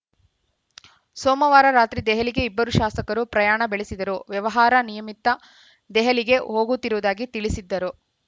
ಸೋಮವಾರ ರಾತ್ರಿ ದೆಹಲಿಗೆ ಇಬ್ಬರೂ ಶಾಸಕರು ಪ್ರಯಾಣ ಬೆಳೆಸಿದರು ವ್ಯವಹಾರ ನಿಮಿತ್ತ ದೆಹಲಿಗೆ ಹೋಗುತ್ತಿರುವುದಾಗಿ ತಿಳಿಸಿದ್ದರು